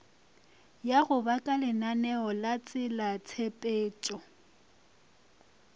ya go ba kalenaneo latselatshepetšo